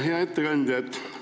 Hea ettekandja!